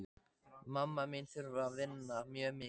Mamma mín þarf að vinna mjög mikið.